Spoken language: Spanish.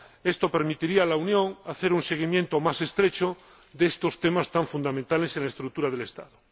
Esto permitiría a la Unión hacer un seguimiento más estrecho de estos temas tan fundamentales en la estructura del Estado.